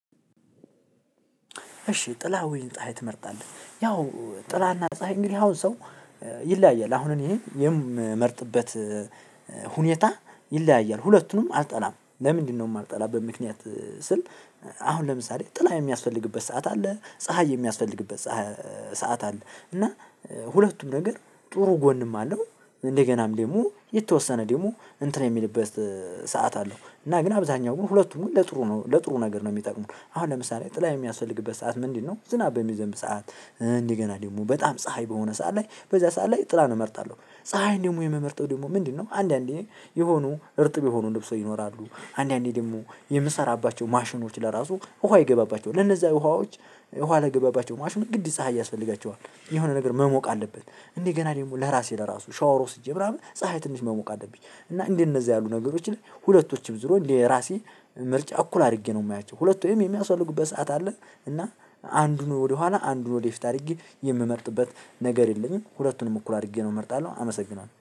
እሺ ጥላ ወይን ፀሀይ ትመርጣለች ያው ጥላና ፀሀይ እንግዲህ አሁን ሰው ይለያያል አሁንም እኔ የምመርጥበት ሁኔታ ይለያያል ሁለቱንም አልጠላም ለምንድነው የማልጠላበት ምክንያት ስል አሁን ለምሳሌ ጥላ የሚያስፈልግበት ሰዓት አለ ፀሀይ የሚያስፈልግበት ሰዓት አለ እና ሁለቱም ነገር ጥሩ ጎንም አለው እንደገናም ደግሞ የተወሰነ ደግሞ እንትን የሚልበት ሰዓት አለው እና ግን አብዛኛው ግን ሁለቱም ለጥሩ ነው ለጥሩ ነገር ነው የሚጠቅመው። አሁን ለምሳሌ ጥላ የሚያስፈልግበት ሰዓት ምንድነው ዝናብ በሚዘንብ ሰዓት፣ እንዲህ ገና ደግሞ በጣም ፀሀይ በሆነ ሰዓት ላይ በዚያ ሰዓት ላይ ጥላ ነው እመርጣለሁ ፀሀይን ደግሞ የምመርጠው ደግሞ ምንድነው አንዳንዴ የሆኑ እርጥብ የሆኑ ልብሶች ይኖራሉ አንዳንዴ ደግሞ የምሰራባቸው ማሽኖች ለራሱ ውሃ ይገባባቸዋል ለነዛ ውሃዎች ውሃ ለገባባቸው ማሽን ግድ ፀሀይ ያስፈልጋቸዋል። የሆነ ነገር መሞቅ አለበት እንዴ ገና ደግሞ ለራሴ ለራሱ ሻወር ወስጄ ምናምን ፀሀይ ትንሽ መሞቅ አለብኝ እና እደነዛ ያሉ ነገሮች ላይ ሁለቶችም ዝሮ ለራሴ ምርጫ እኩል አድርጌ ነው የማያቸው። ሁለቱም የሚያስወልዱበት ሰዓት አለ እና አንዱን ወደኋላ አንዱን ወደፊት አድርጌ የምመርጥበት ነገር የለኝም። ሁለቱንም እኩል አድርጌ ነው እመርጣለሁ። አመሰግናለሁ።